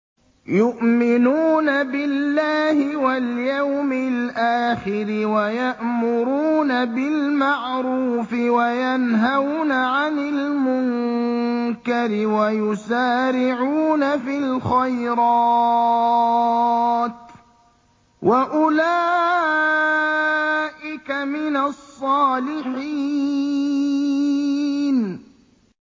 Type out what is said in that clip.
يُؤْمِنُونَ بِاللَّهِ وَالْيَوْمِ الْآخِرِ وَيَأْمُرُونَ بِالْمَعْرُوفِ وَيَنْهَوْنَ عَنِ الْمُنكَرِ وَيُسَارِعُونَ فِي الْخَيْرَاتِ وَأُولَٰئِكَ مِنَ الصَّالِحِينَ